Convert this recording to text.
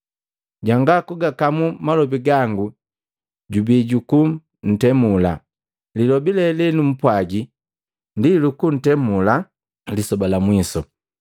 Jwanga kugakamu malobi gangu jubii juku ntemula. Lilobi lee lenumpwaji ndi lukutemula lisoba la mwiso.